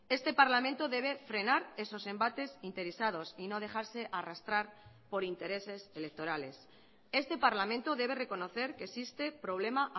este parlamento debe frenar esos embates interesados y no dejarse arrastrar por intereses electorales este parlamento debe reconocer que existe problema